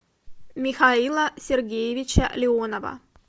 михаила сергеевича леонова